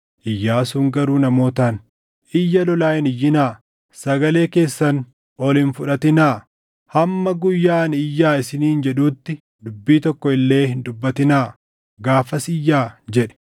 Iyyaasuun garuu namootaan, “Iyya lolaa hin iyyinaa; sagalee keessan ol hin fudhatinaa; hamma guyyaa ani iyyaa isiniin jedhuutti dubbii tokko illee hin dubbatinaa. Gaafas iyyaa!” jedhe.